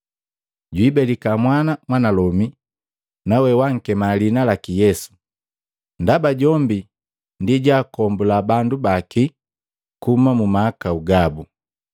Jwiibelika mwana mwanalomi nawe wankema liina laki Yesu, ndaba jombi ndi jojwaakombula bandu baki kuhuma mu mahakau gabu.”